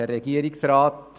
der SiK.